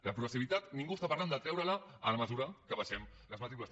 la progressivitat ningú parla de treure la en la mesura que abaixem les matrícules